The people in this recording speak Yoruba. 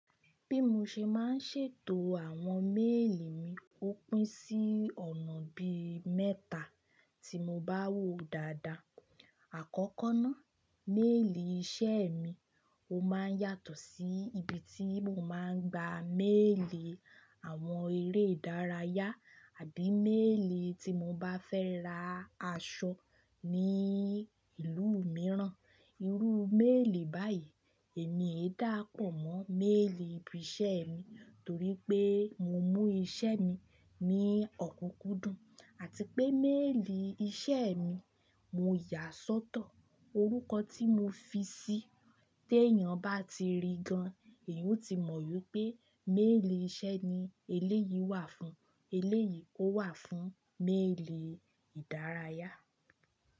Bí mo ṣe máa ń ṣètò àwọn méèlì mi, ó pín sí ọ̀nà bí mẹ́ta tí mo bá wò dáadáa. Àkọ́kọ́ ná, méèlì iṣẹ́ mi, ó máa ń yàtọ̀ sí ibi tí mo máa ń gba méèlì àwọn eré ìdárayá àbí méèlì tí mo bá fẹ́ ra aṣọ ní ìlú mìíràn. Irú méèlì báyìí èmi ê dáàpọ̀ mọ́ méèlì ibi iṣẹ́ mi torí pé mo mú iṣẹ́ mi ní ọ̀kúnkúndùn àti pé méèlì iṣẹ́ mi mo yà á sọ́tọ̀. Orúkọ tí mo fi sí i tí èèyàn bá ti rí gan, èèyàn ó ti mọ̀ pé méèlì iṣẹ́ ni eléyìí wà fún, eléyìí ó wà fún méèlì ìdárayá.